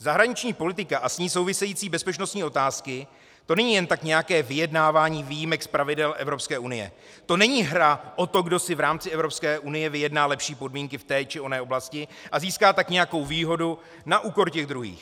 Zahraniční politika a s ní související bezpečnostní otázky, to není jen tak nějaké vyjednávání výjimek z pravidel EU, to není hra o to, kdo si v rámci EU vyjedná lepší podmínky v té či jiné oblasti, a získá tak nějakou výhodu na úkor těch druhých.